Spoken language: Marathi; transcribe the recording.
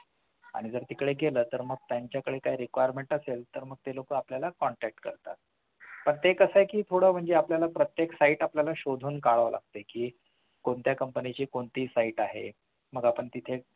आणि जर तिकडे केलं तर त्यांच्या काही requirement असेल तर ते लोकं आपल्याला contact करतात पण ते कसं आहे कि थोडं म्हणजे आपल्याला प्रत्येक site आपल्याला शोधून काढावं लागतंय कि कोणत्या company ची कोणती site आहे मग आपण तिथे